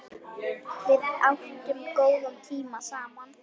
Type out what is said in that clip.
Við áttum góða tíma saman.